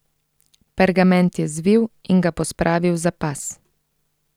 Pergament je zvil in ga pospravil za pas.